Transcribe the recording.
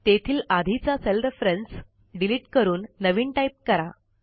तेथील आधीचा cell reference delete करून नवीन टाईप करा